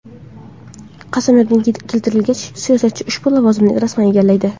Qasamyodga keltirilgach, siyosatchi ushbu lavozimni rasman egallaydi.